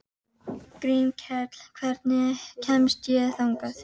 Grímkell, hvernig kemst ég þangað?